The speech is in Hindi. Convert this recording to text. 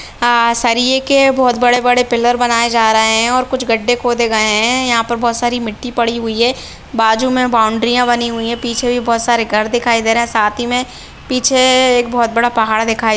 हाँ सरिए के बहुत बड़े बड़े पीलर बनाएं जा रहे है कुछ गड्ढे खोदे गए है यहां पर बहुत सारी मिट्टी पड़ी हुई है बाजू मे बाउंड्रीया बनी हुई है पीछे भी बहुत सारे घर दिखाई दे रहे है साथी मे पीछे एक बहुत बड़ा पहाड़ दिखाई --